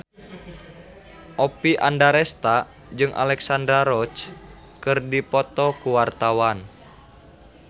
Oppie Andaresta jeung Alexandra Roach keur dipoto ku wartawan